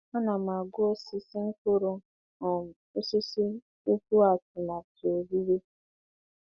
Ana m agụ osisi mkpụrụ um osisi tupu atụmatụ owuwe.